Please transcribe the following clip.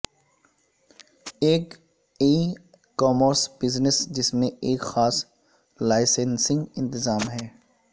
ایک e commerce business جس میں ایک خاص لائسنسنگ انتظام ہے